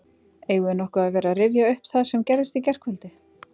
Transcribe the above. Eigum við nokkuð að vera að rifja upp það sem gerðist í gærkvöldi?